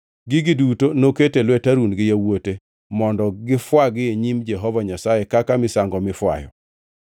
Gigi duto noketo e lwet Harun gi yawuote mondo gifwagi e nyim Jehova Nyasaye kaka misango mifwayo.